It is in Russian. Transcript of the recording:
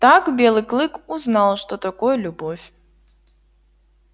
так белый клык узнал что такое любовь